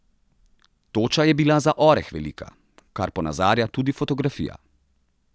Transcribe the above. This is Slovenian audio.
Toča je bila za oreh velika, kar ponazarja tudi fotografija.